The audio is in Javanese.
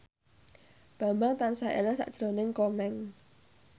Bambang tansah eling sakjroning Komeng